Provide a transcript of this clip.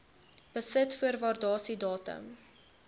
besit voor waardasiedatum